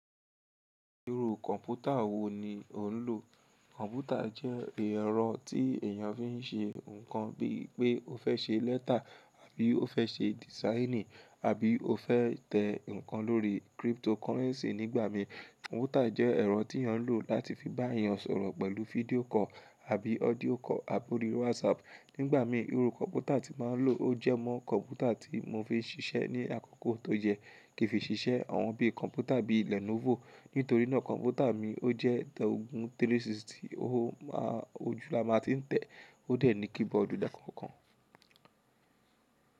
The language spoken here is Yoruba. Irú kọ̀npútà wò ní ọ̀ ń lò? Kọ̀npútà jẹ́ ẹ̀rọ tí èyàn fi n ṣe nǹkan bíi pé ó fẹ́ ṣe lẹ́tà àbí ó fẹ́ ṣe dìsáìnì àbí ó fẹ́ tẹ nǹkan lórí cryptocurrency nígbà mí. Kọ̀npútà jẹ́ ẹ̀rọ tí èyàn ń lò láti fi bá èyàn sọ̀rọ̀ pẹ̀lú fídíò call àbí audío call àbí orí WhatsApp. Nígbà mí irú kọ̀npútà tí ma ń lò ó jẹ́ mọ kọ̀npútà tí mo fi n ṣiṣẹ́ ní àkọ́kọ́ tó yẹ. Kìí fi ṣiṣẹ́ àwọn bíi kọ̀npútà bíi Lenovo. Nítorí náà kọ̀npútà mi ó jẹ́ tẹ 360, ó ma ojú la máa ti n tẹ. Ó dà ní keyboardù dà kan kan.